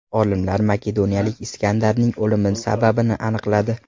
Olimlar makedoniyalik Iskandarning o‘limi sababini aniqladi.